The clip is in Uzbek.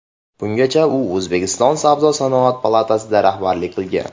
Bungacha u O‘zbekiston Savdo-sanoat palatasiga rahbarlik qilgan.